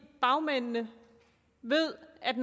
bagmændene ved at